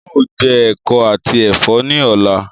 Ń ó jẹ ẹ̀kọ àti Ẹ̀fọ́ ni ọ̀la